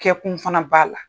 Kɛkun fana b'a la.